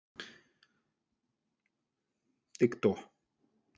ты кто